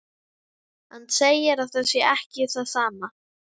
Hann segir að það sé ekki það sama.